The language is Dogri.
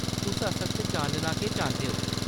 तुस असल च जानना केह् चांह्‌‌‌दे ओ ?